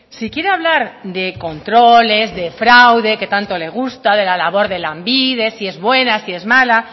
si quiere hablar de controles de fraude que tanto le gusta de la labor de lanbide si es buena si es mala